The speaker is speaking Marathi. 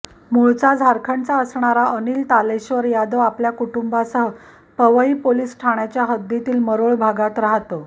मूळचा झारखंडच्या असणारा अनिल तालेश्वर यादव आपल्या कुटुंबासह पवई पोलीस ठाण्याच्या हद्दीतील मरोळ भागात राहतो